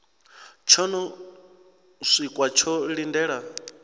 tsho no siwka tsho lindela